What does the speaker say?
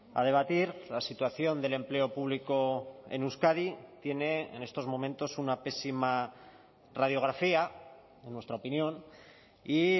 a debatir la situación del empleo público en euskadi tiene en estos momentos una pésima radiografía en nuestra opinión y